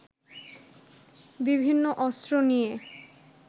বিভিন্ন অস্ত্র নিয়ে